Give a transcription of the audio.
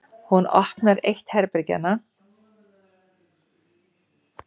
Hún opnar eitt herbergjanna.